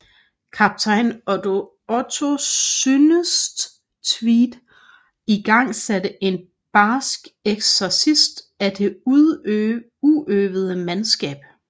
Kaptajn Otto Synnestwedt igangsatte en barsk eksercits af det uøvede mandskab